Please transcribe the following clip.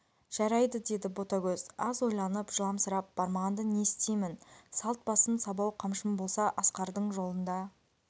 жарайды деді ботагөз аз ойланып жыламсырап бармағанда не істеймін салт басым сабау қамшым болса асқардың жолында